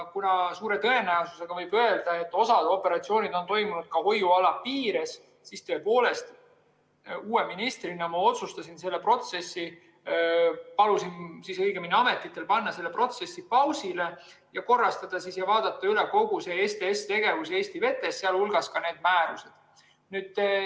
Kuna suure tõenäosusega võib öelda, et osa operatsioone on toimunud ka hoiuala piires, siis tõepoolest, uue ministrina otsustasin ma, õigemini palusin ametitel panna selle protsessi pausile ja korrastada ja vaadata üle kogu see STS‑tegevus Eesti vetes, sh need määrused.